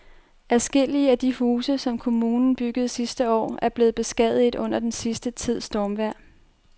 Adskillige af de huse, som kommunen byggede sidste år, er blevet beskadiget under den sidste tids stormvejr.